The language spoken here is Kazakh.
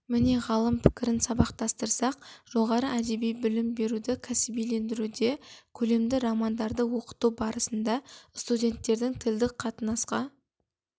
міне ғалым пікірін сабақтастырсақ жоғары әдеби білім беруді кәсібилендіруде көлемді романдарды оқыту барысында студенттердің тілдік қатынасқа